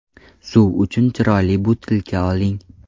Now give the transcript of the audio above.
Suv uchun chiroyli butilka oling .